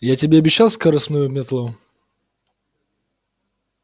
я тебе обещал скоростную метлу